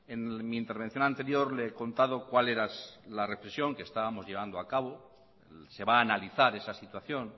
en mi intervención anterior le he contado cuál era la reflexión que estábamos llegando a cabo se va a analizar esa situación